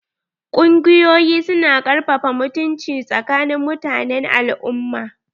Kungiƴoyi su na ƙarfafa mutunci tsakanin mutanen al"umma.